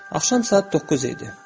Axşam saat 9 idi.